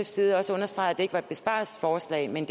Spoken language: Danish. side også understregede at det ikke var et besparelsesforslag men